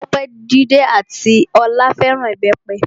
Tope, Jídé ati Olá fẹ́ràn Ìbẹ́pẹ.